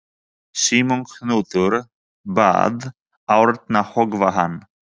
Símon knútur bað Árna höggva hann.